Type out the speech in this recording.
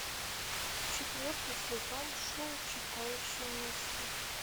четвертый сезон шоу читающий мысли